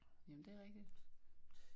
Jamen det er rigtigt